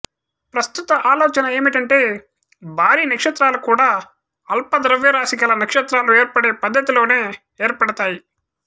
ప్రస్తుత ఆలోచన ఏమిటంటే భారీ నక్షత్రాలు కూడా అల్ప ద్రవ్యరాశి గల నక్షత్రాలు ఏర్పడే పద్ధతి లోనే ఏర్పడాతాయి